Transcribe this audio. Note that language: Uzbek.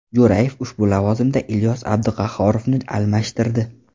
Jo‘rayev ushbu lavozimda Ilyos Abduqahhorovni almashtirdi.